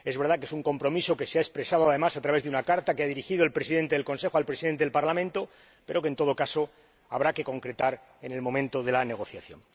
Es verdad que es un compromiso que se ha expresado, además, a través de una carta que ha dirigido el Presidente del Consejo al Presidente del Parlamento, pero que, en todo caso, habrá que concretar en el momento de la negociación.